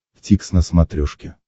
дтикс на смотрешке